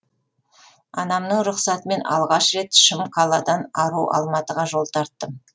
анамның рұқсатымен алғаш рет шым қаладан ару алматыға жол тарттым